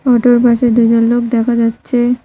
অটোর পাশে দুজন লোক দেখা যাচ্ছে।